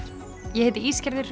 ég heiti